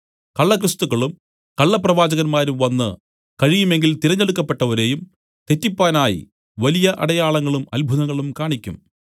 കള്ള ക്രിസ്തുക്കളും കള്ളപ്രവാചകന്മാരും വന്ന് കഴിയുമെങ്കിൽ തിരഞ്ഞെടുക്കപ്പെട്ടവരെയും തെറ്റിപ്പാനായി വലിയ അടയാളങ്ങളും അത്ഭുതങ്ങളും കാണിയ്ക്കും